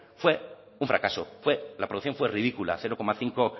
fue un fracaso fue la producción fue ridícula cero coma cinco